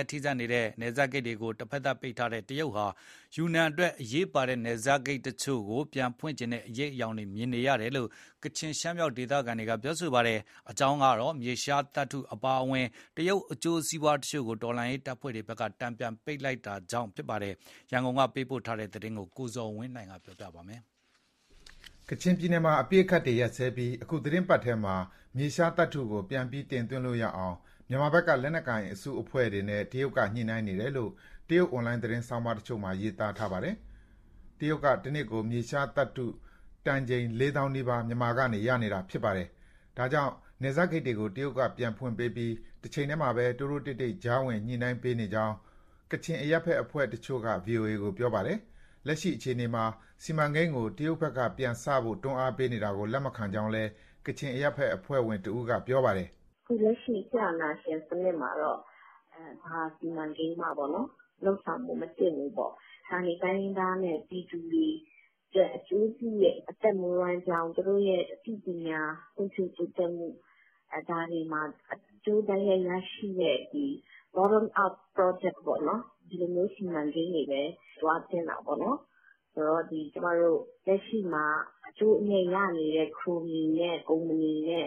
ဲ့ထိစပ်နေတဲ့ နယ်စပ်ဂိတ်တွေကို တဖက်သတ်ပိတ်ထားတဲ့တရုတ်ဟာ ယူနန်အတွက် အရေးပါတဲ့ နယ်စပ်ဂိတ်တချို့ကို ပြန်ဖွင့်ပေးချင်တဲ့ အရိပ်အယောင်တွေမြင်နေရတယ်လို့ ကချင်နဲ့ ရှမ်းမြောက်ဒေသက ဒေသခံတွေက ပြောပါတယ်။ အကြောင်းကတော့ မြေရှားသတ္တုအပါအဝင် တရုတ်အကျိုးစီးပွားတချို့ကို တော်လှန်ရေးတပ်ဖွဲ့တွေက တန်ပြန်ပိတ်ဆို့လိုက်တာကြောင့် ဖြစ်ပါတယ်။ ရန်ကုန်က သတင်းပေးပို့ထားပါတယ်။ ကချင်ပြည်နယ်မှာ အပစ်အခတ်တွေရပ်ပြီး အခုသီတင်းပတ်ထဲမှာ မြေရှားသတ္တုကို ပြန်ပြီး တင်သွင်း လို့ရအောင် မြန်မာဘက်က လက်နက်ကိုင်အစုအဖွဲ့တွေနဲ့ တရုတ်ကညှိနှိုင်းနေတယ်လို့ တရုတ်အွန်လိုင်း သတင်းဆောင်းပါးတချို့မှာ ရေးသားထားပါတယ်။ တရုတ်က တနှစ်ကို မြေရှားသတ္တုတန်ချိန် ၄၀,၀၀၀ နီးပါး မြန်မာဆီကနေရနေတာ ဖြစ်ပါတယ်။ ဒါကြောင့် နယ်စပ်ဂိတ်တွေကို တရုတ်ကပြန်ဖွင့်ပေးပြီး တချိန်တည်းမှာပဲ တိုးတိုးတိတ်တိတ် ကြားဝင်ညှိနှိုင်းပေးနေကြောင်း ကချင်အရပ်ဘက်အဖွဲ့တချို့က ဗွီအိုအေကို ပြောပါတယ်။ လက်ရှိအခြေအနေမှာ စီမံကိန်းတွေကို တရုတ်ဘက်ကပြန်စဖို့ တွန်းအားပေးနေတာကို လက်မခံကြောင်းလည်း ကချင်အရပ်ဘက်အဖွဲ့ဝင်တဦးက ပြောပါတယ်။ "လက်ရှိစစ်အာဏာရှင်စနစ်မှာ ဘာစီမံကိန်းမှ မလုပ်သင့်ဘူးပေါ့။ ဌာနေတိုင်းရင်းသားနဲ့ ပြည်သူတွေအတွက်အကျိုးပြုတဲ့ အသက်မွေးဝမ်းကြောင်း၊ အသိပညာဖွံ့ဖြိုးတိုးတက်မှု ဒါတွေမှာ အကျိုးတိုက်ရိုက်ရရှိတဲ့ Bottom-up project ပေါ့နော် ဒီလိုမျိုး စီမံကိန်းတွေပဲ သွားသင့်တာပေါ့နော်။ လက်ရှိမှာ အကျိုးအမြတ်ရနေတဲ့ ခရိုနီနဲ့ ကုမ္ပဏီနဲ့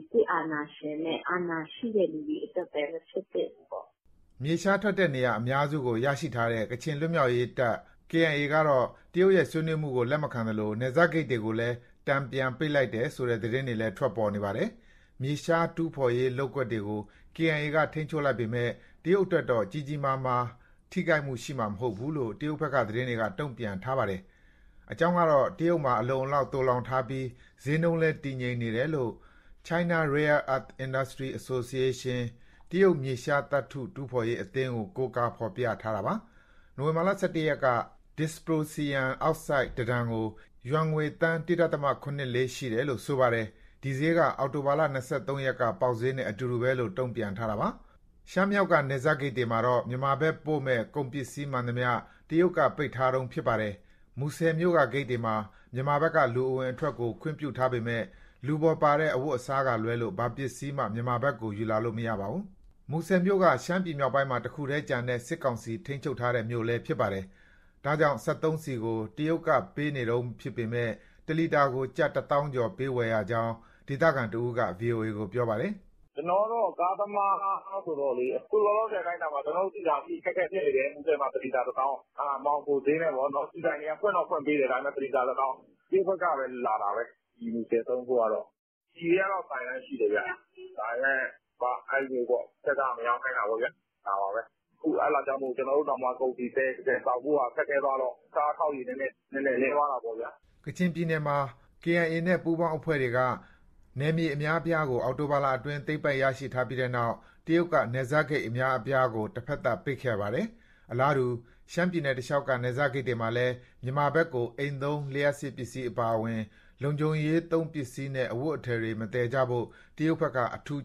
စစ်အာဏာရှင်နဲ့ အာဏာရှိတဲ့သူတွေအတွက်ပဲ မဖြစ်သင့်ဘူး။" မြေရှားထွက်တဲ့နေရာ အများစုကို ရရှိထားတဲ့ ကချင်လွတ်မြောက်ရေး တပ်တော် KIA ကတော့ တရုတ်ရဲ့ ဆွေးနွေးမှုတွေကို လက်မခံသလို နယ်စပ်ဂိတ်တွေကိုလည်း တန်ပြန် ပိတ်လိုက်တယ်ဆိုတဲ့ သတင်းတွေလည်း ထွက်ပေါ်နေပါတယ်။ မြေရှားတူးဖော်ရေး လုပ်ကွက်တွေကို KIAက ထိန်းချုပ်လိုက် ပေမဲ့ တရုတ်အတွက်တော့ ကြီးကြီးမားမား ထိခိုက်မှုရှိမှာ မဟုတ်ဘူးလို့ တရုတ်ဘက်က သတင်းတွေက တုံ့ပြန်ထားတာပါ။ အကြောင်းကတော့ တရုတ်မှာအလုံအလောက် သိုလှောင်ထားပြီး ဈေးနှုန်းလည်းတည်ငြိမ်နေတယ်လို့ China Rare Earth Industry Association ကို ကိုးကားဖော်ပြ ခဲ့တာပါ။ နိုဝင်ဘာလ ၁၁ရက်က Dysprosium တတန်ကို ယွမ်ငွေ သန်း ၁.၇၄ ရှိတယ်လို့ ဆိုပါတယ်။ ဒီဈေးက အောက်တိုဘာလ ၂၃ ရက်က ပေါက်ဈေးနဲ့ အတူတူပဲလို့ တုံ့ပြန် ထားတာပါ။ ရှမ်းမြောက်က နယ်စပ်ဂိတ်တွေမှာတော့ မြန်မာဘက်ပို့မယ့် ကုန်ပစ္စည်းမှန်သမျှ တရုတ်က ပိတ်ထားတုန်းဖြစ်ပါတယ်။ မူဆယ်မြို့ကဂိတ်တွေမှာ မြန်မာဘက်က လူအဝင်အထွက်ကို ခွင့်ပြုထားပေမဲ့ လူပေါ်ပါတဲ့ အဝတ်အစားကလွဲလို့ ဘာပစ္စည်းမှ မြန်မာဘက်ကို ယူလာလို့ မရပါဘူး။ မူဆယ်မြို့က ရှမ်းပြည်နယ်မြောက်ပိုင်းမှာ တခုတည်းကျန်တဲ့ စစ်ကောင်စီ ထိန်းချုပ်ထားတဲ့ မြို့လည်းဖြစ်ပါတယ်။ ဒါကြောင့် စက်သုံးဆီကို တရုတ်က ပေးနေတုန်းဖြစ်ပေမဲ့ တလီတာကို ကျပ် တသောင်းကျော် ပေးဝယ်ရကြောင်း ဒေသခံတဦးက ဗွီအိုအေကို ပြောပါတယ်။ "ကျနော်က ကားသမားဆိုတော့လေ အခုလောလောဆယ် အတိုင်းအတာမှာ ဆီနည်းနည်းအခက်အခဲ ဖြစ်နေတယ်။ မူဆယ်မှာ တလီတာတသောင်း။ အဲဒါမှောင်ခိုဈေးပေါ့။ ဆီဆိုင်တွေက ဖွင့်တော့ ဖွင့်ပေးတယ်။ ဒါပေမဲ့ တလီတာ တသောင်း၊ တရုတ်ဘက်ကပဲ လာတာပဲ။ ဒီမူဆယ်သုံးဖို့ကတော့။ ဆီကတော့ ဆိုင်တိုင်းရှိတယ်ဗျ။ ဒါပေမဲ့ အဲလိုမျိုးပေါ့။ အထက်က မရောင်းခိုင်းတာပေါ့ ဒါပါပဲ။ အဲဒါကြောင့်မို့ ကျနော်တို့တောင် ကုန်စည်သယ်ဆောင်ဖို့ ခက်ခဲသွားတော့ ကားအခေါက်ရေ နည်းနည်း နည်းသွားတာပေါ့ဗျာ။" ကချင်ပြည်နယ်ကမှာ KIA နဲ့ ပူးပေါင်းအဖွဲ့တွေက နယ်မြေအများအပြားကို အောက်တိုဘာလအတွင်း သိမ်းပိုက်ရရှိပြီးနောက် တရုတ်က နယ်စပ်ဂိတ်အများအပြားကို တဖက်သတ် ပိတ်ခဲ့တာပါ။ အလားတူ ရှမ်းပြည်နယ်တလျှောက်က နယ်စပ်ဂိတ်တွေမှာလည်း မြန်မာဘက်ကို အိမ်သုံး လျှပ်စစ်ပစ္စည်း အပါအဝင် လုံခြုံရေးသုံးပစ္စည်းနဲ့အဝတ်အထည်တွေ မသယ်ကြဖို့ တရုတ်ဘက်က အထူးက